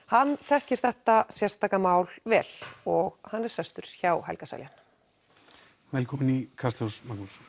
hann þekkir þetta sérstaka mál vel og er sestur hjá Helga Seljan velkominn í Kastljós